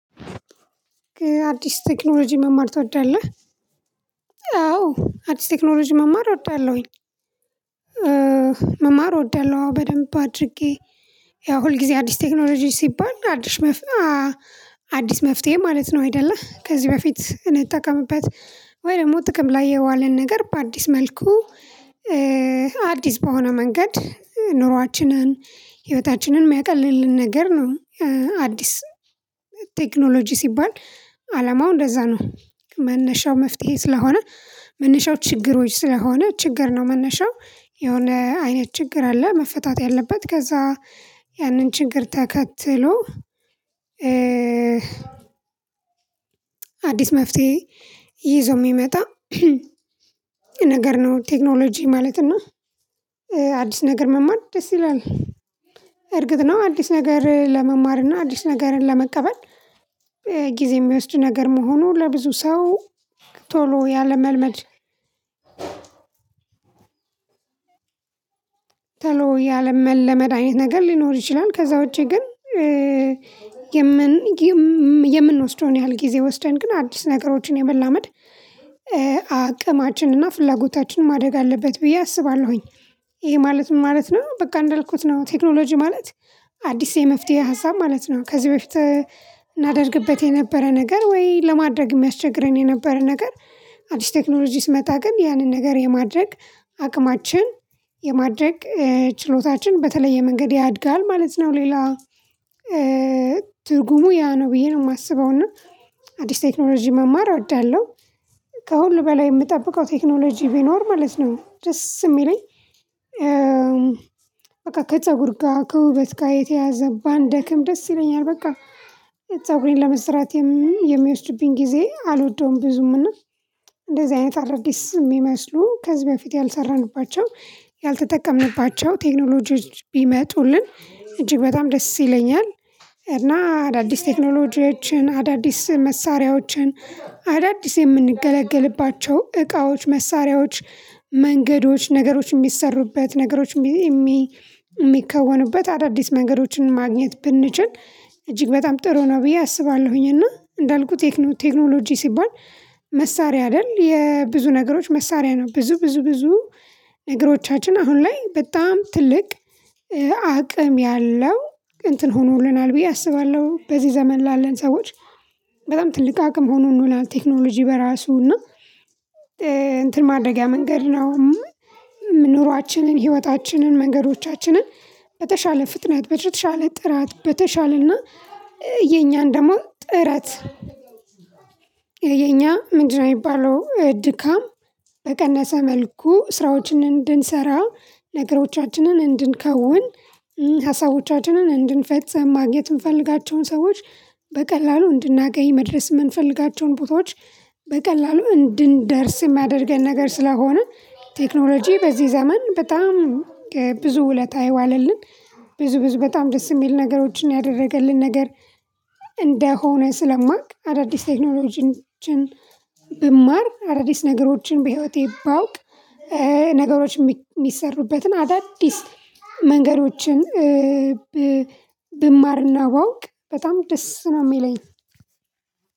አዲስ ቴክኖሎጂ መማር ትወዳለህ? አዎ አዲስ ቴክኖሎጂ መማር እወዳለሁኝ። መማር እወዳለሁ በደንብ አድርጌ ያው ሁል ጊዜ አዲስ ቴክኖሎጂ ሲባል አዲስ አዲስ መፍትሄ ማለት ነው። አይደለ ከዚህ በፊት እንጠቀምበት? ወይ ደግሞ ጥቅም ላይ የዋለን ነገር በአዲስ መልኩ አዲስ በሆነ መንገድ ኑሯችንን ህይወታችንን የሚያቀልልን ነገር ነው። አዲስ ቴክኖሎጂ ሲባል አላማው እንደዛ ነው። መነሻው መፍትሄ ስለሆነ መነሻው ችግሮች ስለሆነ ችግር ነው መነሻው የሆነ አይነት ችግር አለ መፈታት ያለበት ከዛ። ያንን ችግር ተከትሎ። አዲስ መፍትሄ ይዞ የሚመጣ ነገር ነው። ቴክኖሎጂ ማለት እና አዲስ ነገር መማር ደስ ይላል። እርግጥ ነው አዲስ ነገር ለመማር እና አዲስ ነገርን ለመቀበል ጊዜ የሚወስድ ነገር መሆኑ ለብዙ ሰው ቶሎ ያለመልመድ ቶሎ ያለመለመደ አይነት ነገር ሊኖር ይችላል። ከዛ ውጪ ግን። የምንወስደውን ያህል ጊዜ ወስደን ግን አዲስ ነገሮችን የመላመድ አቅማችንና ፍላጎታችን ማደግ አለበት ብዬ አስባለሁኝ። ይሄ ማለት ምን ማለት ነው በቃ እንዳልኩት ነው ቴክኖሎጂ ማለት? አዲስ የመፍትሄ ሀሳብ ማለት ነው። ከዚህ በፊት እናደርግበት የነበረ ነገር ወይ ለማድረግ የሚያስቸግረን የነበረ ነገር። አዲስ ቴክኖሎጂ ሲመጣ ግን ያንን ነገር የማድረግ አቅማችን የማድረግ ችሎታችን በተለየ መንገድ ያድጋል ማለት ነው። ሌላ ትርጉሙ ያ ነው ብዬ ነው የማስበው። እና አዲስ ቴክኖሎጂ መማር እወዳለሁ። ከሁሉ በላይ የምጠብቀው ቴክኖሎጂ ቢኖር ማለት ነው ደስ የሚለኝ። በቃ ከፀጉር ጋር ከውበት ጋር የተያያዘ ባንደክም ደስ ይለኛል። በቃ ፀጉሬን ለመስራት የሚወስድብኝ ጊዜ አልወደውም። ብዙም እንደዚህ አይነት አዳዲስ የሚመስሉ ከዚህ በፊት ያልሰራንባቸው ያልተጠቀምንባቸው ቴክኖሎጂዎች ቢመጡልን እጅግ በጣም ደስ ይለኛል። እና አዳዲስ ቴክኖሎጂዎችን አዳዲስ መሳሪያዎችን አዳዲስ የምንገለግልባቸው እቃዎች መሳሪያዎች መንገዶች ነገሮች የሚሰሩበት ነገሮች የሚከወኑበት አዳዲስ መንገዶች ማግኘት ብንችል እጅግ በጣም ጥሩ ነው። ብዬ አስባለሁኝ እና እንዳልኩት ቴክኖሎጂ ሲባል? መሳሪያ አይደል የብዙ ነገሮች መሳሪያ ነው። ብዙ ብዙ ብዙ ነገሮቻችን አሁን ላይ በጣም ትልቅ አቅም ያለው እንትን ሆኖልናል ብዬ አስባለሁ። በዚህ ዘመን ላለን ሰዎች በጣም ትልቅ አቅም ሆኖልናል ቴክኖሎጂ በራሱ እና እንትን ማድረጊያ መንገድ ነው። ኑሯችንን ህይወታችንን መንገዶቻችንን በተሻለ ፍጥነት በተሻለ ጥራት በተሻለና የኛን ደግሞ ጥረት የኛ ምንድነው የሚባለው ድካም? በቀነሰ መልኩ ስራዎችን እንድንሰራ ነገሮቻችንን እንድንከውን ሀሳቦቻችንን እንድንፈጽም ማግኘት የምንፈልጋቸውን ሰዎች በቀላሉ እንድናገኝ መድረስ የምንፈልጋቸውን ቦታዎች በቀላሉ እንድንደርስ የሚደርገን ነገር ስለሆነ። ቴክኖሎጂ በዚህ ዘመን በጣም ብዙ ውለታ የዋለልን ብዙ ብዙ በጣም ደስ የሚል ነገሮችን ያደረገልን ነገር። እንደሆነ ስለማውቅ አዳዲስ ቴክኖሎጂዎችን ብማር አዳዲስ ነገሮችን በህይወቴ ባውቅ ነገሮች የሚሰሩበትን አዳዲስ መንገዶችን ብማርና ባውቅ በጣም ደስ ነው የሚለኝ።